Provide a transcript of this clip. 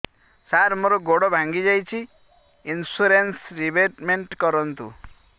ସାର ମୋର ଗୋଡ ଭାଙ୍ଗି ଯାଇଛି ଇନ୍ସୁରେନ୍ସ ରିବେଟମେଣ୍ଟ କରୁନ୍ତୁ